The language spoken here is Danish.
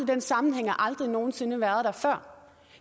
den sammenhæng har aldrig nogen sinde været der før